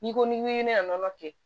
N'i ko n'i ye ne ka nɔnɔ kɛ